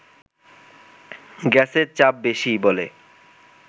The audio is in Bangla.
গ্যাসের চাপ বেশি বলে